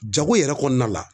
Jago yɛrɛ kɔnɔna la